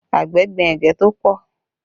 Àgbẹ̀ gbin ẹ̀gẹ́ tó pọ̀